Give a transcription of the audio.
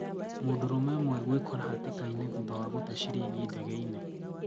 mũdũrũme ũmwe gũikora hatika-inĩ thutha wa gũtee shilingi dege-ĩnĩ